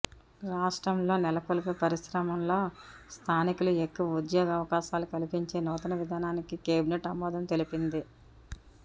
రాష్ట్రంలో నెలకొల్పే పరిశ్రమల్లో స్థానికులకు ఎక్కువ ఉద్యోగావకాశాలు కల్పించే నూతన విధానానికి కేబినెట్ ఆమోదం తెలిపింది